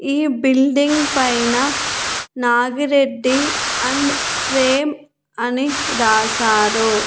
ఈ బిల్డింగ్ పైన నాగిరెడ్డి అండ్ ప్రేమ్ అని రాశారు.